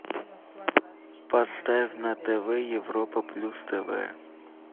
поставь на тв европа плюс тв